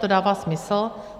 To dává smysl.